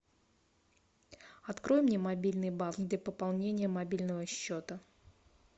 открой мне мобильный банк для пополнения мобильного счета